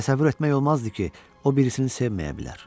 Təsəvvür etmək olmazdı ki, o birisini sevməyə bilər.